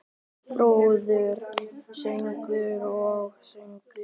Brúður, söngur og sögur.